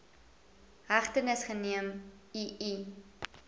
hegtenis geneem ii